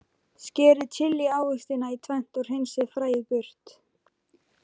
Skerið chili ávextina í tvennt og hreinsið fræið burt.